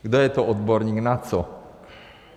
Kdo je to odborník na co?